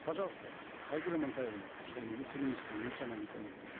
пожалуйста айгуль амантаевна шаимова вице министр национальной экономики